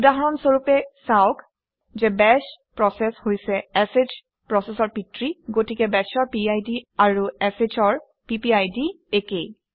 উদাহৰণ স্বৰূপে চাওক যে বাশ প্ৰচেচ হৈছে শ প্ৰচেচৰ পিতৃ গতিকে bash অৰ পিড আৰু sh অৰ পিপিআইডি একে